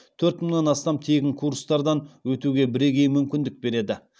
төрт мыңнан астам тегін курстардан өтуге бірегей мүмкіндік береді